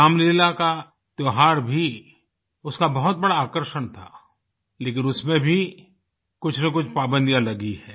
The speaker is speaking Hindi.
रामलीला का त्योहार भी उसका बहुत बड़ा आकर्षण था लेकिन उसमें भी कुछनकुछ पाबंदियाँ लगी हैं